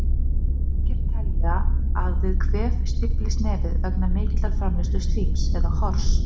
Margir telja að við kvef stíflist nefið vegna mikillar framleiðslu slíms, eða hors.